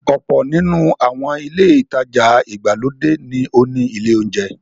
Ọ̀pọ̀ nínú àwọn ilé-ìtajà ìgbàlódé ní ó ní ilé-oúnjẹ.